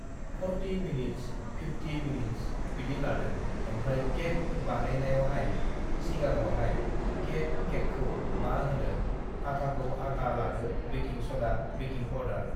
uhh forty minutes (forty minutes) fifty minutes (fifty minutes) बिदि लादों ओमफ्राय केक (cake) बानायनायावहाय सिगांआवहाय केक (cake) केकखौ मा होनो आठाखौ आता लादो बेकिं (baking) सदा बेकिं पावदार (baking powder)